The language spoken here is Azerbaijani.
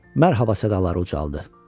Mərhaba sədaları ucaldı.